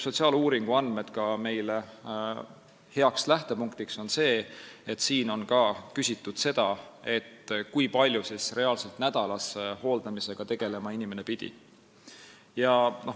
Sotsiaaluuringu andmed on meile heaks lähtepunktiks seetõttu, et seal on küsitud, kui palju inimene pidi reaalselt nädalas hooldamisega tegelema.